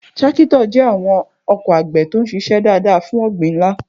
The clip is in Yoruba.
Tractors jẹ́ àwọn ọkọ̀ àgbẹ̀ tó ń ṣiṣẹ́ dáadáa fún ọgbìn ńlá.